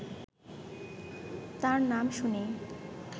তার নাম শুনেই